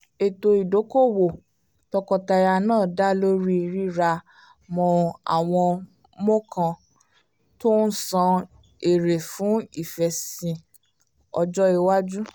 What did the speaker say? ètò ìdókòòwò tọkọtaya náà dá lórí rírà mọ́ àwọn mọ́ọ̀kàn tó ń san èrè fún ìfèsìn ọjọ́ iwájú